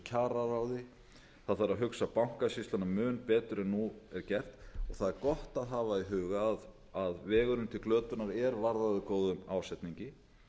kjararáði það þarf að hugsa bankasýsluna mun betur en nú er gert það er gott að hafa í huga að vegurinn til glötunar er varðaður góðum ásetningi